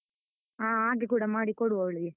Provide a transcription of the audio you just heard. ಹಾ ಹಾಗೆ ಕೂಡ ಮಾಡಿ ಕೊಡುವ ಅವಳಿಗೆ.